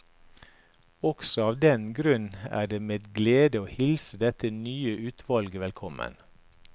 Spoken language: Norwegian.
Også av den grunn er det med glede en hilser dette nye utvalget velkommen.